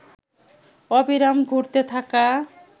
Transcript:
অবিরাম ঘুরতে থাকা